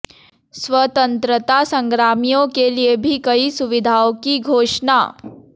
स्वतंत्रता संग्रामियों के लिये भी कई सुविधाओं की घोषणा